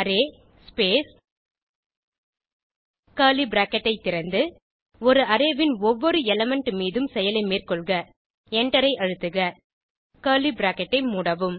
array space curly bracket ஐ திறந்து ஒரு அரே ன் ஒவ்வொரு எலிமெண்ட் மீதும் செயலை மேற்கொள்க Enter ஐ அழுத்துக கர்லி பிராக்கெட் ஐ மூடவும்